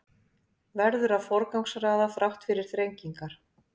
Verður að forgangsraða þrátt fyrir þrengingar